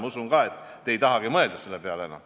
Ma usun ka, et te ei tahagi enam selle peale mõelda.